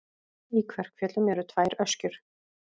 Í Kverkfjöllum eru tvær öskjur.